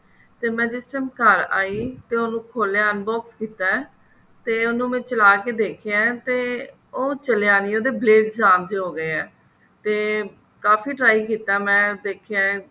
ਤੇ ਮੈਂ ਜਿਸ time ਘਰ ਆਈ ਤੇ ਉਹਨੂੰ ਖੋਲਿਆ unbox ਕੀਤਾ ਤੇ ਉਹਨੂੰ ਮੈਂ ਚਲਾ ਕਿ ਦੇਖਿਆ ਤੇ ਉਹ ਚੱਲਿਆ ਨੀ ਉਹਦੇ ਖਰਾਬ ਜੇ ਹੋਗੇ ਆ ਤੇ ਕਾਫ਼ੀ try ਕੀਤਾ ਮੈਂ ਦਿਖਿਆ